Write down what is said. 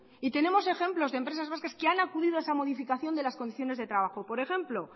y tenemos ejemplos de empresas vascas que han acudido a esa modificación de las condiciones de trabajo por ejemplo